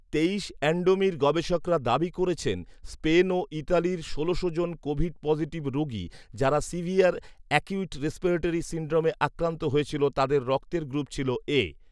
তেইশ অ্যান্ডমির গবেষকরা দাবি করেছেন, স্পেন ও ইতালির ষোলোশো জন কোভিড পজিটিভ রোগী যারা সিভিয়ার অ্যাকিউট রেসপিরেটরি সিন্ড্রোমে আক্রান্ত হয়েছিল তাদের রক্তের গ্রুপ ছিল ‘এ’